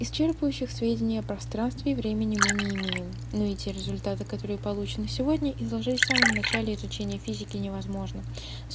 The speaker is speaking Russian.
исчерпывающих сведений о пространстве и времени мы не имеем но эти результаты которые получены сегодня изложить в самом начале изучения физики невозможно